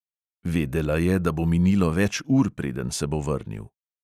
Vedela je, da bo minilo več ur, preden se bo vrnil.